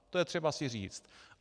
To je třeba si říci.